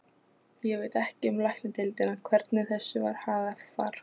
Ég veit ekki um Læknadeildina, hvernig þessu var hagað þar.